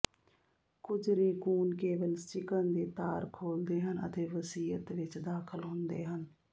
ਕੁਝ ਰੇਕੂਨ ਕੇਵਲ ਚਿਕਨ ਦੇ ਤਾਰ ਖੋਲਦੇ ਹਨ ਅਤੇ ਵਸੀਅਤ ਵਿੱਚ ਦਾਖ਼ਲ ਹੁੰਦੇ ਹਨ